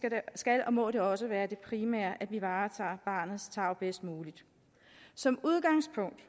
skal og må det også være det primære at vi varetager barnets tarv bedst muligt som udgangspunkt